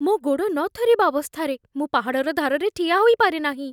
ମୋ ଗୋଡ଼ ନ ଥରିବା ଅବସ୍ଥାରେ ମୁଁ ପାହାଡ଼ର ଧାରରେ ଠିଆ ହୋଇ ପାରେ ନାହିଁ।